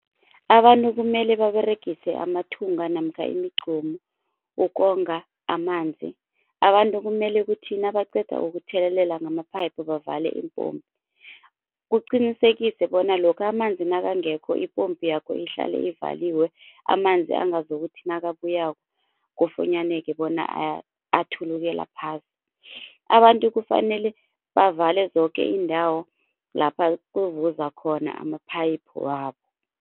Abantu kumele baberegise amathunga namkha imigcomu ukonga amanzi. Abantu kumele kuthi nabaqeda ukuthelelela ngama-pipe bavale iimpompi, kuqinisekiswe bona lokha amanzi nakangekho ipompi yakho ihlale ivaliwe amanzi angazokuthi nakabuyako kufunyaneke bona athulukela phasi. Abantu kufanele bavale zoke iindawo lapha kuvuza khona ama-pipe wabo.